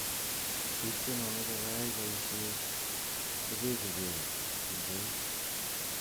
biik che momechei koyay boisie kobechiegei eng koik.